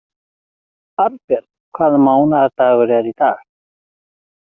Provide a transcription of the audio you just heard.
Arnbjörn, hvaða mánaðardagur er í dag?